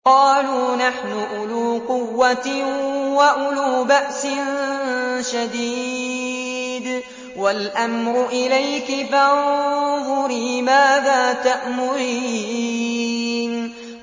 قَالُوا نَحْنُ أُولُو قُوَّةٍ وَأُولُو بَأْسٍ شَدِيدٍ وَالْأَمْرُ إِلَيْكِ فَانظُرِي مَاذَا تَأْمُرِينَ